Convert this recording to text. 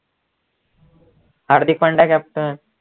Hardik Pandya captain